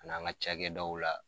A nan ka ca kɛ daw la.